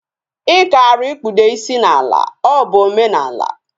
Ikaara ikpude isi na ala. O bu omenala